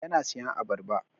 Yana siyan abarba.